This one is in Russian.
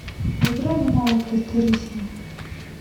поиграем в навык тестерисимо